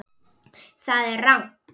Það er rangt.